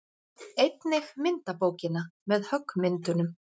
Einnig myndabókina með höggmyndunum.